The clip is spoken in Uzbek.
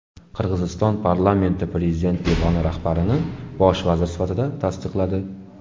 Qirg‘iziston parlamenti prezident devoni rahbarini bosh vazir sifatida tasdiqladi.